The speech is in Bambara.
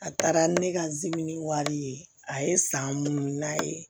A taara ni ne ka zimini wari ye a ye san munnu n'a ye